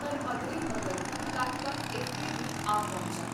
ਪਰ ਮਗਰੇ ਮਗਰ ਲਖਪਤ ਇਥੇ ਬੀ ਆ ਪਹੁੰਚਾ,